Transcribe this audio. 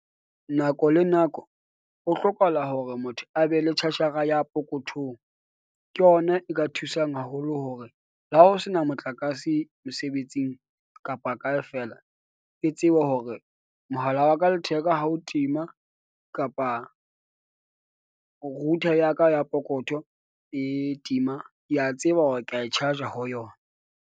Nako le nako ho hlokahala hore motho a be le charger-ra ya pokothong. Ke ona e ka thusang haholo hore le ha ho sena motlakase mosebetsing kapa kae feela. Ke tsebe hore mohala wa ka letheka ha o tima kapa router ya ka ya pokotho e tima. Ke a tseba hore ka e charge-a ho yona.